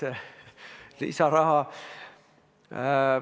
Lisaraha ...